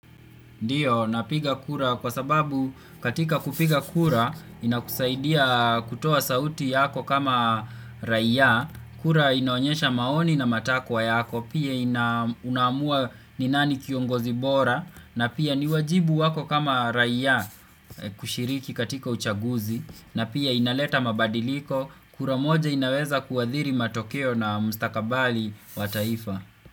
Ndiyo, napiga kura kwa sababu katika kupiga kura inakusaidia kutoa sauti yako kama raia, kura inaonyesha maoni na matakwa yako, pia inaamua ni nani kiongozi bora, na pia ni wajibu wako kama raia kushiriki katika uchaguzi, na pia inaleta mabadiliko, kura moja inaweza kuadhiri matokeo na mstakabali wa taifa.